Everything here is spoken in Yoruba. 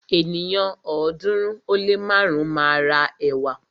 Ènìyàn ọ̀ọ́dúnrún ó lé márùn máa ra ẹ̀wà.